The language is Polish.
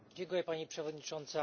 Pani Przewodnicząca!